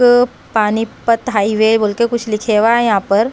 अ Panipat highway बोल के कुछ लिखे हुआ है यहाँ पर।